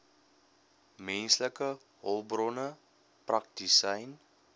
menslike hulpbronne praktisyn